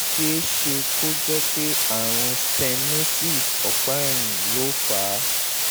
ó tún ṣe é ṣe kó jẹ́ pé àrùn stenosis ọ̀pá ẹ̀yìn ló fà á